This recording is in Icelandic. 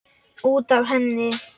Út af henni!